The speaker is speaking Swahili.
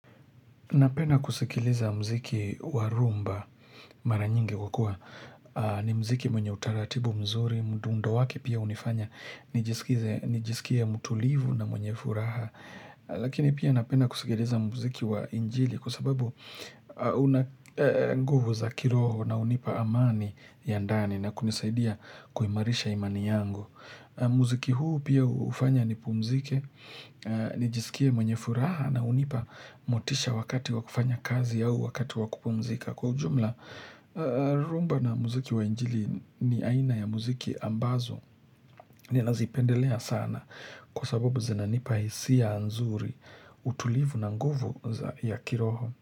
Napena kusikiliza mziki wa rumba mara nyingi hukua ni mziki mwenye utaratibu mzuri, mdundo wake pia hunifanya, nijisikie mutulivu na mwenye furaha. Lakini pia napenda kusikiliza mziki wa injili kusababu unanguvu za kiroho na hunipa amani ya ndani na kunisaidia kuimarisha imani yangu. Muziki huu pia hufanya ni pumzike, nijisikie mwenye furaha na hunipa motisha wakati wakufanya kazi au wakati wakupumzika Kwa ujumla, rumba na muziki wa njili ni aina ya muziki ambazo ni nazipendelea sana Kwa sababu zinanipa hisia nzuri, utulivu na nguvu ya kiroho.